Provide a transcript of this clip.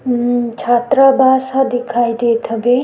उम छात्रा वास ह दिखाई देत हबे।